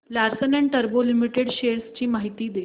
Larsen and टुर्बो limited shares ची माहिती दे